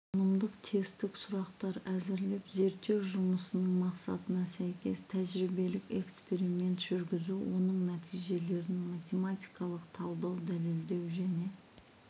танымдық-тестік сұрақтар әзірлеп зерттеу жұмысының мақсатына сәйкес тәжірибелік-эксперимент жүргізу оның нәтижелерін математикалық талдау дәлелдеу және